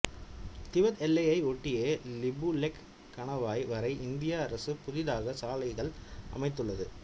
Tibet எல்லையை ஒட்டிய லிபுலெக் கணவாய் வரை இந்திய அரசு புதிதாக சாலைகள் அமைத்துள்ளது